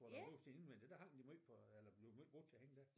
Hvor der er mursten indvendigt der hang de måj på eller blev måj brugt til at hænge der